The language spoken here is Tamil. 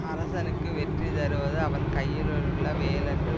அரசனுக்கு வெற்றி தருவது அவன் கையிலுள்ள வேலன்று